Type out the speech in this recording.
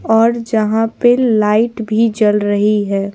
और जहां पे लाइट भी जल रही है--